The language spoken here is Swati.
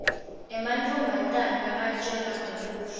emantfombatane nakatjelwa ngebuhle